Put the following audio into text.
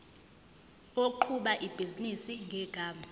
oqhuba ibhizinisi ngegama